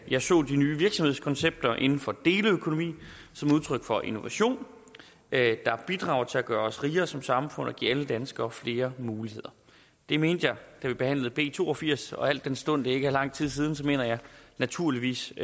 jeg så de nye virksomhedskoncepter inden for deleøkonomi som udtryk for innovation der bidrager til at gøre os rigere som samfund og give alle danskere flere muligheder det mente jeg da vi behandlede b to og firs og al den stund det ikke er lang tid siden mener jeg naturligvis